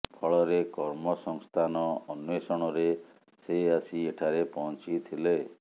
ଫଳରେ କର୍ମ ସଂସ୍ଥାନ ଅନ୍ୱେଷଣରେ ସେ ଆସି ଏଠାରେ ପହଞ୍ଚିଥିଲେ